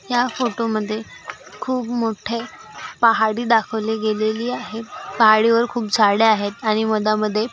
या फोटो मध्ये खूप मोठे पहाड़ी दाखवली गेलेली आहे पहाड़ी वर खूप झाडे आहेत. आणि मदा मध्ये--